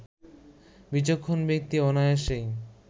বিচক্ষণ ব্যক্তি অনায়াসেই